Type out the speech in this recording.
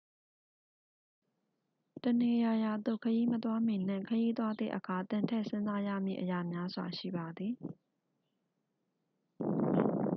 တစ်နေရာရာသို့ခရီးမသွားမီနှင့် ခရီးသွားသည့်အခါ သင်ထည့်စဉ်းစားရမည့်အရာများစွာ ရှိပါသည်